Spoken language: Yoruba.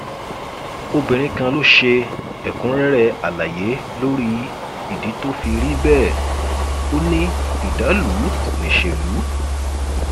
obìnrin kan ló ṣe ẹkúnrẹrẹ àlàyé lórí ìdí tó fi rí bẹẹ ó ní ìdàlùú níṣèlú